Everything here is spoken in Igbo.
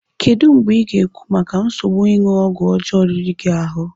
Kedu mgbe ị ga-ekwu maka nsogbu ịṅụ ọgwụ ọjọọ riri gị ahụ?